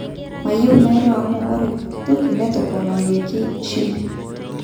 Mayieu nairo amu ore pokitoki netoponayioki shimbi.